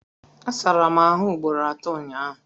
Asara m ahụ ugboro atọ ụnyaahụ